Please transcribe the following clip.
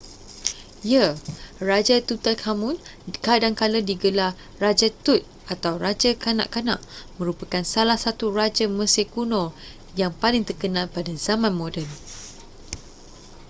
ya raja tutankhamun kadangkala digelar raja tut atau raja kanak-kanak merupakan salah satu raja mesir kuno yang paling terkenal pada zaman moden